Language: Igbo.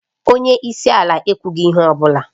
Onye isi ala ekwughị ihe ọ bụla